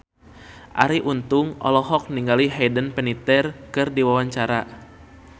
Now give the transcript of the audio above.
Arie Untung olohok ningali Hayden Panettiere keur diwawancara